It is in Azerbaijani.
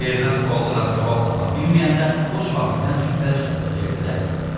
Verilən suallara cavab tapa bilməyəndə o şahiddən şübhəli şəxsə çevrilib.